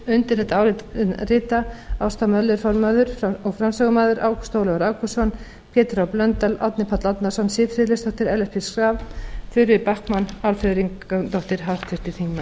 undir þetta álit rita háttvirtir þingmenn ásta möller formaður og framsögumaður ágúst ólafur ágústsson pétur h blöndal árni páll árnason siv friðleifsdóttir ellert b schram þuríður backman álfheiður ingadóttir